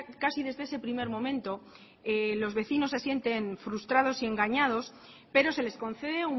casi desde ese primer momento los vecinos se sienten frustrados y engañados pero se les concede